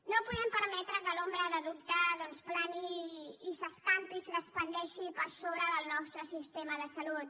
no podem permetre que l’ombra de dubte doncs plani i s’escampi i s’expandeixi per sobre del nostre sistema de salut